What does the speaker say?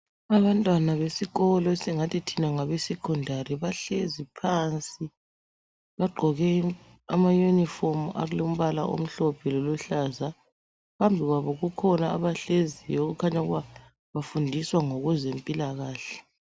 Abantwana abesikolo esingathi thina ngabeSecondary bahlezi phansi. Bagqoke amayunifomu alombala omhlophe loluhlaza. Phambi kwabo kukhona abahleziyo okukhanya ukuba bafundiswa ngokwezempilakahle.